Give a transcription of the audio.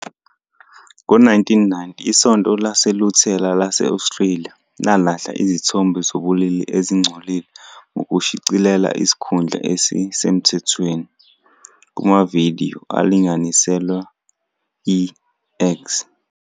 Ngo-1990, iSonto LaseLuthela lase-Australia lalahla izithombe zobulili ezingcolile ngokushicilela isikhundla esisemthethweni "kumavidiyo alinganiselwe i-X".